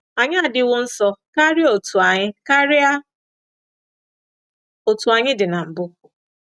“Anyị adiwo nso karịa otú anyị karịa otú anyị dị na mbụ.